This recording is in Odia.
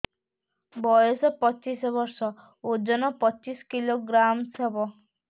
ବୟସ ପଚିଶ ବର୍ଷ ଓଜନ ପଚିଶ କିଲୋଗ୍ରାମସ ହବ